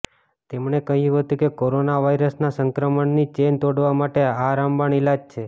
તેમણે કહ્યું હતું કે કોરોના વાઇરસના સંક્રમણની ચેઇન તોડવા માટે આ રામબાણ ઇલાજ છે